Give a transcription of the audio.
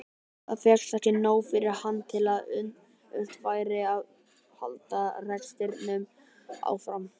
Þá fékkst ekki nóg fyrir hann til að unnt væri að halda rekstrinum áfram.